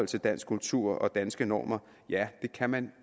til dansk kultur og danske normer ja det kan man